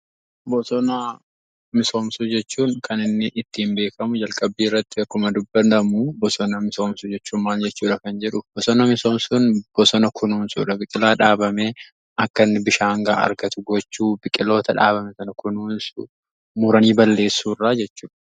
Bosonaa misoomsu jechuun kan inni ittiin beekamu jalqabbii irratti akkuma beekamu bosonaa misoomsu jechuun maal jechuudha kan jedhudha. Bosona misoomsuun bosona kunuunsuudhaan biqilaa dhaabame akkani bishaan gahaa argatu gochuu fi biqiloota dhaabame sana kunuunsu muranii balleessuu irraa jechuudha.